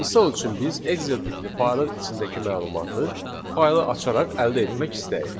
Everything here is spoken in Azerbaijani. Misal üçün biz Excel tipli faylın içindəki məlumatı faylı açaraq əldə etmək istəyirik.